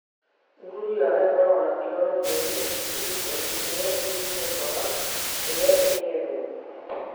Nguru yao ĩkoragwo na chlorophyll, silicon ĩrĩa ĩnyihũkaga rĩrĩa ĩng'ethwo